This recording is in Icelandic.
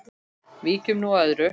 Víkjum nú að öðru.